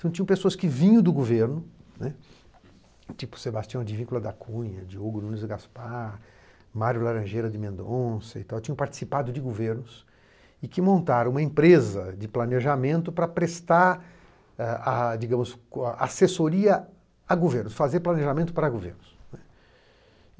Então tinham pessoas que vinham do governo, né, tipo Sebastião de Víncula da Cunha, Diogo Nunes Gaspar, Mário Laranjeira de Mendonça e tal, tinham participado de governos e que montaram uma empresa de planejamento para prestar, eh ah digamos, assessoria a governos, fazer planejamento para governos, né.